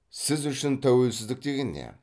сіз үшін тәуелсіздік деген не